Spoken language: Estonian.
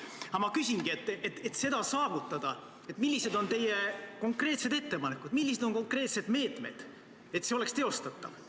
Aga ma küsingi, et millised on teie konkreetsed ettepanekud ja millised on konkreetsed meetmed, et see oleks teostatav.